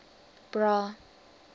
bra